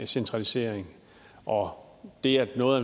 centralisering og det at noget